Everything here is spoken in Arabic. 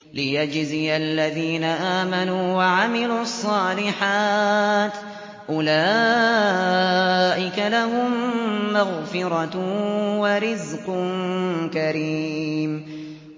لِّيَجْزِيَ الَّذِينَ آمَنُوا وَعَمِلُوا الصَّالِحَاتِ ۚ أُولَٰئِكَ لَهُم مَّغْفِرَةٌ وَرِزْقٌ كَرِيمٌ